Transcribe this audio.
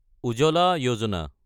উজালা যোজনা